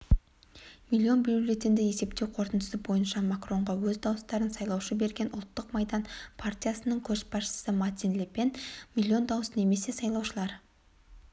миллион бюллетенді есептеу қорытындысы бойынша макронға өз дауыстарын сайлаушы берген ұлттық майдан партиясының көшбасшысы матин ле пен миллион дауыс немесе сайлаушылар